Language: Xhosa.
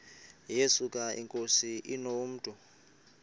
yesuka inkosi inomntu